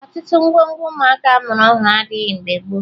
Ọtụtụ ngwongwo ụmụaka a mụrụ ọhụrụ adịghị mgbe gboo